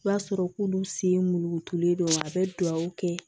O b'a sɔrɔ k'olu sen mulukutulen don a bɛ dugawu kɛ